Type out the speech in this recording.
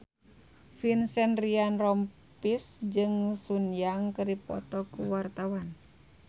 Vincent Ryan Rompies jeung Sun Yang keur dipoto ku wartawan